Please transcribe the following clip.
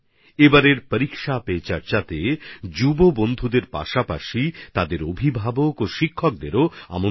এবারের পরীক্ষা পে চর্চাতে নবীনদের পাশাপাশি মাবাবা আর শিক্ষকশিক্ষিকারাও আমন্ত্রিত